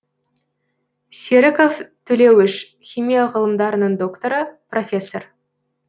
серіков төлеуіш химия ғылымдарының докторы профессор